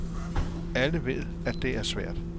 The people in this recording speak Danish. Alle ved, at det er svært.